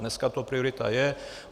Dneska to priorita je.